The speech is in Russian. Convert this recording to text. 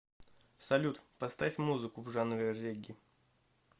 салют поставь музыку в жанре регги